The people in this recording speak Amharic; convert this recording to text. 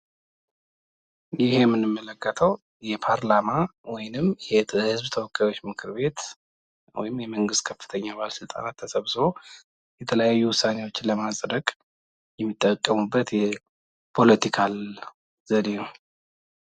ይህ የምንመለከተው የፓርላማ ወይም የህዝብ ተወካዮች ምክር ቤት ወይም የመንግስት የከፍተኛ ባለስልጣናት ተሰብስበው የተለያዩ ውሳኔዎችን ለማጽደቅ የሚጠቀሙበት የፖለቲካል ዘዴ ነው።